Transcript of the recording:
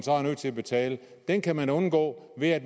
nødt til at betale det kan man undgå ved at